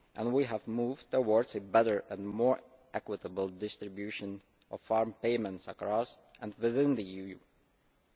We have moved towards a better and more equitable distribution of farm payments across and within the Union.